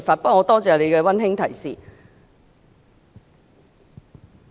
不過，我感謝你的溫馨提示。